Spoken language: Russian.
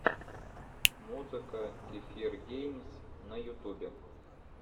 музыка кефир геймс на ютубе